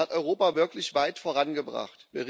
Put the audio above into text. Das hat Europa wirklich weit vorangebracht.